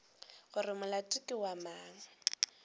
gore molato ke wa mang